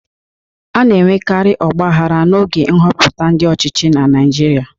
A na-enwekari ọgbaghara n'oge nhọpụta ndi ochichi na Naịjirịa.